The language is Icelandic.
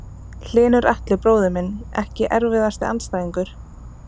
Hlynur Atli bróðir minn Ekki erfiðasti andstæðingur?